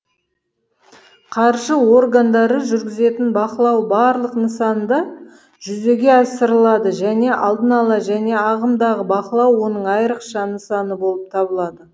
қаржы органдары жүргізетін бақылау барлық нысанда жүзеге асырылады және алдын ала және ағымдағы бақылау оның айрықша нысаны болып табылады